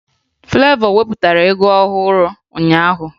Flevọ wepụtara egwu ọhụrụ ụnyaahụ